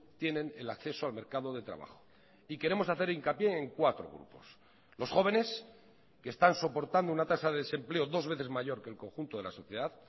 tienen el acceso al mercado de trabajo y queremos hacer hincapié en cuatro grupos los jóvenes que están soportando una tasa de desempleo dos veces mayor que el conjunto de la sociedad